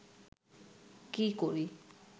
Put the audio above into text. কী করি